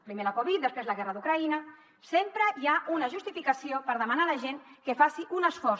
primer la covid després la guerra d’ucraïna sempre hi ha una justificació per demanar a la gent que faci un esforç